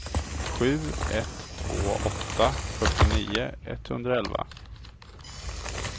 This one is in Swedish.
sju ett två åtta fyrtionio etthundraelva